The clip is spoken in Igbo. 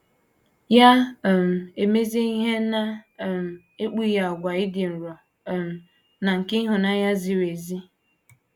Ya um emezie ihe na - um ekpughe àgwà ịdị nro um na nke ịhụnanya ziri ezi.